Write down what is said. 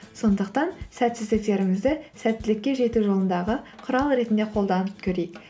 сондықтан сәтсіздіктерімізді сәттілікке жету жолындағы құрал ретінде қолданып көрейік